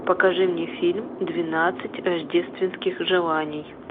покажи мне фильм двенадцать рождественских желаний